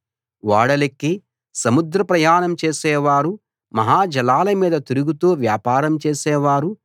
ఓడలెక్కి సముద్ర ప్రయాణం చేసేవారు మహాజలాల మీద తిరుగుతూ వ్యాపారం చేసేవారు